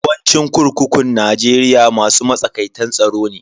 Yawancin kurkukun Najeriya masu matsakaitan tsaro ne.